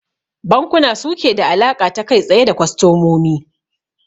Bankuna suke da alaƙa ta kai tsaye da kwastamomi